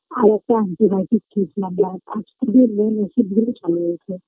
আরেকটা anti-biotic main ওষুধগুলো